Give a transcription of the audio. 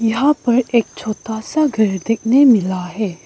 यहां पर एक छोटा सा घर देखने मिल रहा है।